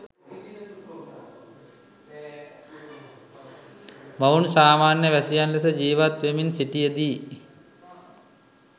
මොවුන් සාමාන්‍ය වැසියන් ලෙස ජීවත් වෙමින් සිටියදී